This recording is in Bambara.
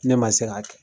Ne ma se k'a kɛ